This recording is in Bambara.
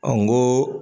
Ɔ n ko